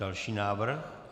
Další návrh?